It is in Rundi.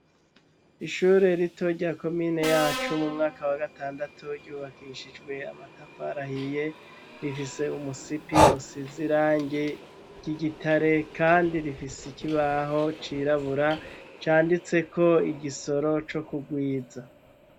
Ishure rito rya ko mine yacu mu mwaka wa gatandatu ryubakishijwe amatafarahiye rifise umusipi usizirange ry'igitare, kandi rifise ikibaho cirabura canditseko igisoro co kugwiza.